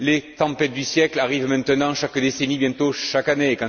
Les tempêtes du siècle arrivent maintenant chaque décennie et bientôt chaque année.